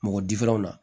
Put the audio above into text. Mɔgɔ difɛrɛn na